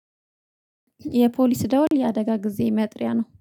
የፖሊስ ደውል የአደጋ ጊዜ መጥሪያ ነው